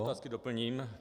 Otázky doplním.